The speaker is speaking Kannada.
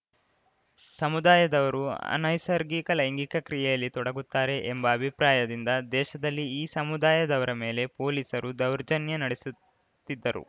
ಸಮುದಾಯದವರು ಅನೈಸರ್ಗಿಕ ಲೈಂಗಿಕ ಕ್ರಿಯೆಯಲ್ಲಿ ತೊಡಗುತ್ತಾರೆ ಎಂಬ ಅಭಿಪ್ರಾಯದಿಂದ ದೇಶದಲ್ಲಿ ಈ ಸಮುದಾಯದವರ ಮೇಲೆ ಪೊಲೀಸರು ದೌರ್ಜನ್ಯ ನಡೆಸುತ್ತಿದ್ದರು